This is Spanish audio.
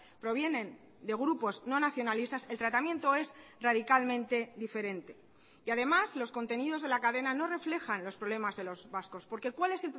provienen de grupos no nacionalistas el tratamiento es radicalmente diferente y además los contenidos de la cadena no reflejan los problemas de los vascos porque cuál es